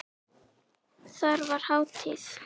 Þar var hátíð.